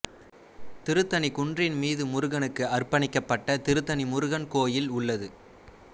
திருத்தணி குன்றின் மீது முருகனுக்கு அர்ப்பணிக்கப்பட்ட திருத்தணி முருகன் கோயில் உள்ளது